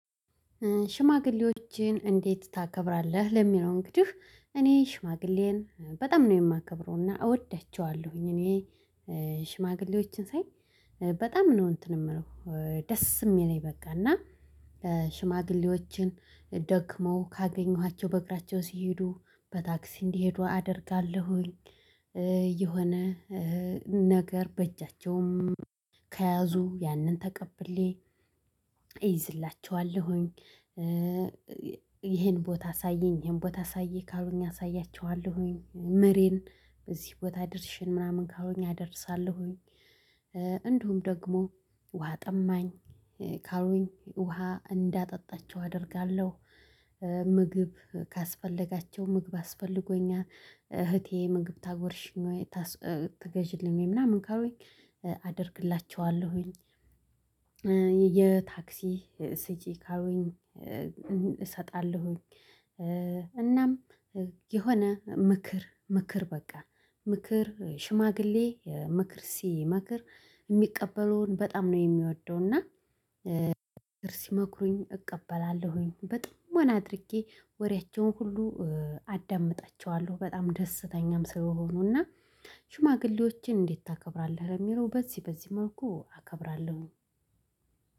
ሽማግሌዎችን እንዴት ታከብራለህ ለሚለው እንግዲህ እኔ ሽማግሌን በጣም ነው የማከብረውና እወዳቸዋለሁኝ እኔ ሽማግሌዎችን ሳይ በጣም ነው እንትን የምለው ደስ የሚለኝ በቃ እና ሽማግሌዎችን ደክመው ካገኘኋቸው በእግራቸው ሲሄዱ በታክሲ እንዲሄዱ አደርጋለሁኝ የሆነ ነገር በእጃቸውም ከያዙ ያንን ተቀብሌ እይዝላቸዋለሁኝ ይሄን ቦታ አሳየኝ ይሄን ቦታ አሳየኝ ካሉኝ አሳያቸዋለሁኝ ምሬን በዚህ ቦታ ደርሽን ምናምን ካሉኝ አደርሳለሁኝ እንደውም ደግሞ ውሃ ጠማኝ ካሉኝ ውሃ እንዳጠጣቸው አደርጋለሁ። ምግብ ካስፈለጋቸው ምግብ አስፈልጎኛል እህቴ ምግብ ታጎርሽኝ ወይ ትገዢልኝ ወይ ምናምን ካሉኝ አደርግላቸዋለሁኝ የታክሲ ስጪኝ ካሉኝ ካሉኝ እሰጣለሁኝ እናም የሆነ ምክር ምክር በቃ ምክር ሽማግሌ ምክር ሲመክር የሚቀበለውን በጣም ነው የሚወደው እና ምክር ሲሞክሩኝ እቀበላለሁኝ በጣም አድርጌ ወሬያቸውን ሁሉ አዳምጠችዋለሁ በጣም ደስተኛም ስለሆኑና ሽማግሌዎችን እንዴት ታከብራለህ ለሚለው በዚህ በዚህ መልኩ አከብራለሁኝ።